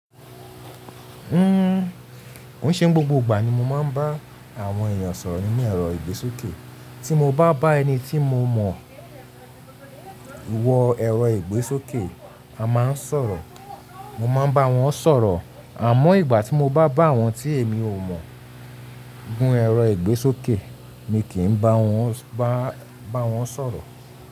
N ko ṣeun, gbogbo ìgbà ni mo máa ń bá àwọn èèyàn sọ̀rọ̀ nínú ẹ̀rọ ìgbésókè. Tí mo bá bá ẹni tí mo mọ̀ wọ ẹ̀rọ ìgbésókè, a máa ń sọ̀rọ̀. Mo máa ń bá wọn sọ̀rọ̀. Àmọ́ ìgbà tí mo bá bá àwọn tí èmi ò mọ̀ gún ẹ̀rọ ìgbésókè mi kì í ba wọn ba wọn sọ̀rọ̀